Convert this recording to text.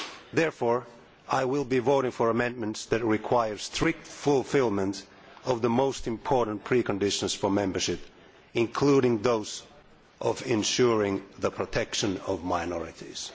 Therefore I will be voting for amendments that require strict fulfilment of the most important preconditions for membership, including that of ensuring the protection of minorities.